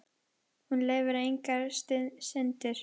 Hún leyfir engar syndir.